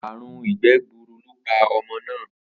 Àrùn ìgbé̩ gburu ló pa o̩mo̩ náà